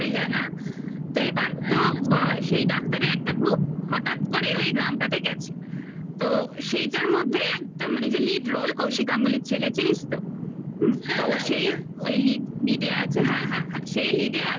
যায় না তো এবার হ্যাঁ তো সেই doctor -এর একটা group হঠাৎ করে ওই গ্রামটাতে গেছে তো সেইটার মধ্যে একদম মানে যে lead roll কৌশিক গাঙ্গুলির ছেলে চিনিস তো হুম হ্যাঁ হ্যাঁ তো সেই ওই lead roll -এ আছে হ্যাঁ হ্যাঁ সেই lead -এ আছে